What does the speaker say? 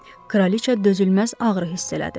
Kraliçə dözülməz ağrı hiss elədi.